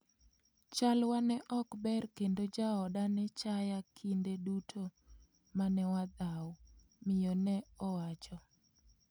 Chalwa ne ok ber kendo jaoda ne chaya kinde duto mane wadhaw '', miyo ne owacho.